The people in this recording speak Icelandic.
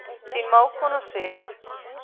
Þín mágkona Sif.